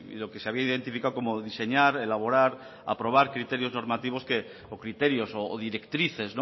lo que se había identificado como diseñar elaborar aprobar criterios normativos que o criterios o directrices